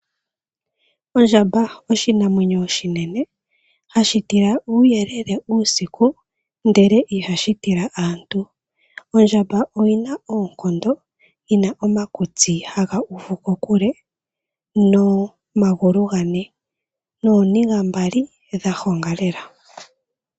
Ondjamba oshinamwenyo oshinene hashi tila uuyelele uusiku ndele ihashi tila aantu. Ondjamba oyina oonkondo, yina omakutsi haga uvu kokule nomagulu gane nooniga mbali dha honga lela.